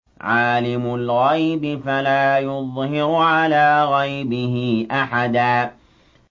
عَالِمُ الْغَيْبِ فَلَا يُظْهِرُ عَلَىٰ غَيْبِهِ أَحَدًا